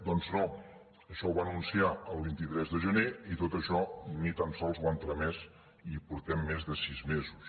doncs no això ho va anunciar el vint tres de gener i tot això ni tan sols ho han tramès i portem més de sis mesos